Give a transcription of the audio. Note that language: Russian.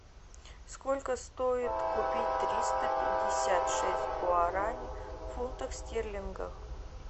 сколько стоит купить триста пятьдесят шесть гуарани в фунтах стерлингов